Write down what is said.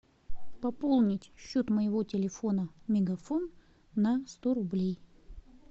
пополнить счет моего телефона мегафон на сто рублей